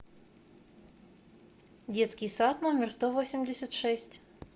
детский сад номер сто восемьдесят шесть